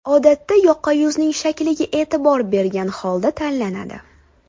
Odatda yoqa yuzning shakliga e’tibor bergan holda tanlanadi.